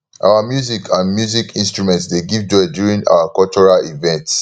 our music and music instrument dey give joy during our cultural events